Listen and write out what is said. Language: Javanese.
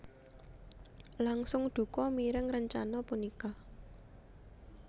langsung duka mireng rencana punika